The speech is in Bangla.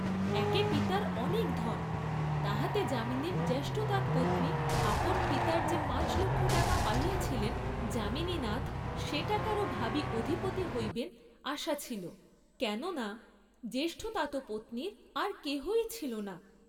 একে পিতার অনেক ধন, তাহাতে যামিনীর জ্যেষ্ঠতাতপত্নী আপন পিতার যে পাঁচলক্ষ টাকা পাইয়াছিলেন, যামিনীনাথ সে টাকারও ভাবী অধিপতি হইবেন আশা ছিল, কেন না জ্যেষ্ঠতাতপত্নীর আর কেহই ছিল না।